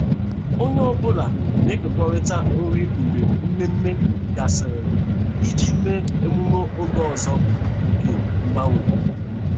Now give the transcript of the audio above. Onye ọ bụla na-ekekọrịta nri mgbe mmemme gasịrị iji mee emume oge ọzọ nke mgbanwe.